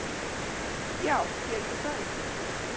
Já gerir þú það ekki?